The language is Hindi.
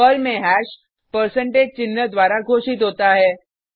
पर्ल में हैश परसेंटेज चिन्ह द्वारा घोषित होता है